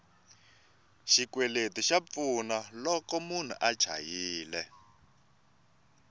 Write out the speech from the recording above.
xikweleti xa pfuna loko munhu a chayile